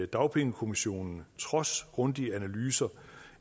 dagpengekommissionen trods grundige analyser